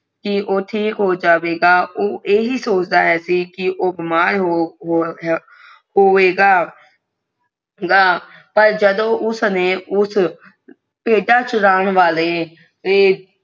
ਕਿ ਊ ਠੀਕ ਹੋ ਜਾਵੇਗਾ ਓ ਇਹੀ ਸੋਚਤਾ ਸੀ ਓ ਬਿਮਾਰ ਹੋ ਗਏ ਗਏ ਪਰ ਜਦ ਉਸਨੇ ਊਸ਼ ਭੇਡਾਂ ਚਰਾਣ ਵਾਲੇ